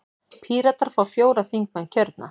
Píratar fá fjóra þingmenn kjörna.